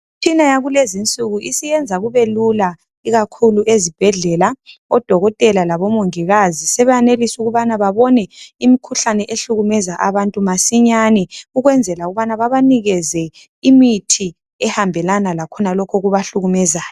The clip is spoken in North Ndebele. Imtshina yalezinsuku isiyenza kubelula ikakhulu ezibhedlela. Odokotela labomongikazi sibeyanelisa ukuba babone imkhuhlane ehlukumeza abantu masinyane ukuwenzela ukuba babanikeze imithi ehambelana lakhonokhu okubahlukumezayo.